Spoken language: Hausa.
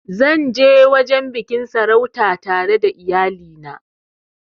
Zan ja wajen biƙin sarautan tare da iyali na